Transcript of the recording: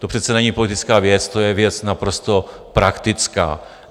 To přece není politická věc, to je věc naprosto praktická.